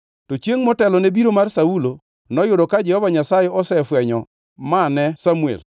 To chiengʼ motelone biro mar Saulo, noyudo ka Jehova Nyasaye osefwenyo ma ne Samuel.